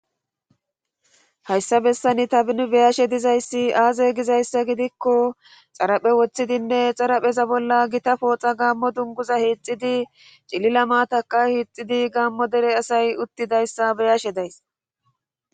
hayssa bessani tani be7ashe dizayssi aaze gizayssa gidikko xaraphe woththidinne xarapheza bolla gita pooxa gaammo dunguza hixxidi cilila maatakka hiixxidi gaammo dere asay uttidaysa be7ashe days.